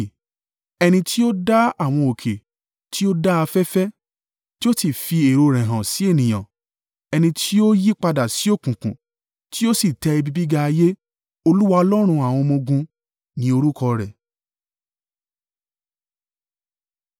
Ẹni tí ó dá àwọn òkè tí ó dá afẹ́fẹ́ tí ó sì fi èrò rẹ̀ hàn sí ènìyàn, ẹni tí ó yípadà sí òkùnkùn tí ó sì tẹ ibi gíga ayé. Olúwa Ọlọ́run àwọn ọmọ-ogun ni orúkọ rẹ̀.